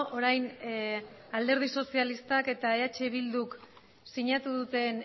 orain alderdi sozialistak eta eh bilduk siñatuduten